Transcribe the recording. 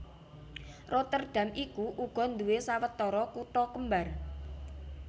Rotterdam iku uga nduwé sawetara kutha kembar